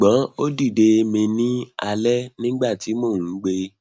ṣugbọn o dide mi ni alẹ nigbati mo n gbe